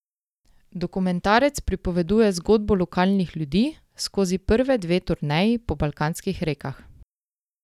Dokumentarec pripoveduje zgodbo lokalnih ljudi skozi prve dve turneji po balkanskih rekah.